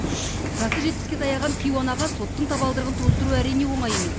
жасы жетпіске таяған кейуанаға соттың табалдырығын тоздыру әрине оңай емес